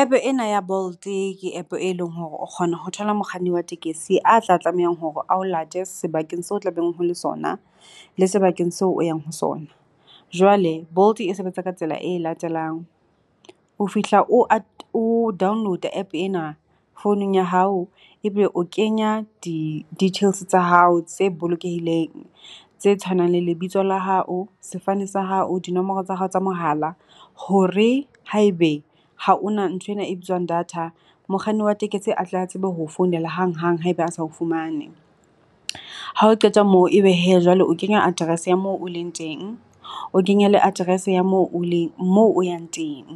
App-e ena ya Bolt ke App e leng hore o kgona ho thola mokganni a tla tlamehang hore a o late sebakeng seo tlabeng ho le sona, le sebakeng seo o yang ho sona. Jwale Bolt e sebetsa ka tsela e latelang, o fihla o o download-a App ena founung ya hao, ebe o kenya di-details tsa hao tse bolokehileng tse tshwanang le lebitso la hao, sefane sa hao dinomoro tsa hao tsa mohala. Hore haebe ha o na nthwena e bitswang data, mokganni wa tekesi a tle a tsebe ho o founela hang hang haeba a sa o fumane. Ha o qeta moo, ebe hee jwale o kenya address ya moo o leng teng, o kenye le address ya moo o leng moo o yang teng.